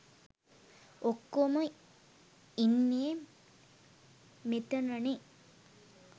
ඔක්කෝම ඉන්නේ මෙතනනේ.